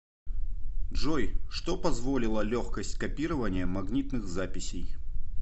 джой что позволила легкость копирования магнитных записей